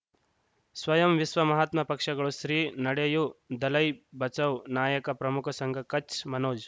ಸ್ವಯಂ ವಿಶ್ವ ಮಹಾತ್ಮ ಪಕ್ಷಗಳು ಶ್ರೀ ನಡೆಯೂ ದಲೈ ಬಚೌ ನಾಯಕ ಪ್ರಮುಖ ಸಂಘ ಕಚ್ ಮನೋಜ್